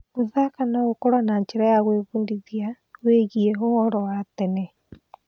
Gũthaka no gũkorwo njĩra ya gwĩbundithia wĩgiĩ ũhoro wa tene.